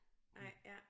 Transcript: Nej ja